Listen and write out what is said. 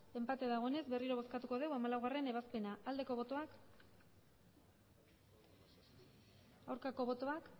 enpate dagoenez berriro bozkatuko dugu hamalaugarrena ebazpena aldeko botoak aurkako botoak